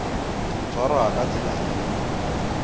ho tshwarwa ka tsela e